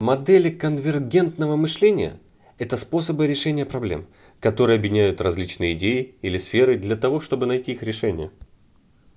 модели конвергентного мышления это способы решения проблем которые объединяют различные идеи или сферы для того чтобы найти их решение